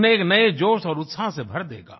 उन्हें एक नये जोश और उत्साह से भर देगा